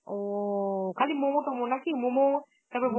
ও খালি মোমো, টমো নাকি? মোমো তারপর